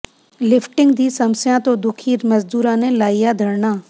lifting ਦੀ ਸਮੱਸਿਆ ਤੋਂ ਦੁੱਖੀ ਮਜ਼ਦੂਰਾਂ ਨੇ ਲਾਇਆ ਧਰਨਾ